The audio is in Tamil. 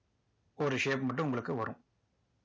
ஒரு shape மட்டும் உங்களுக்கு வரும்